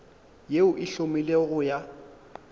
yeo e hlomilwego go ya